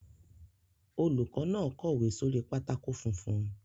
Olùkọ́ náà kọ̀wé sórí pátákó funfun.